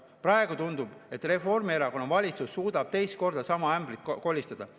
Praegu tundub, et Reformierakonna valitsus suudab teist korda sama ämbrit kolistada.